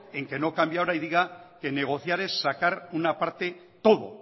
en que no cambie ahora y diga que negociar es sacar una parte todo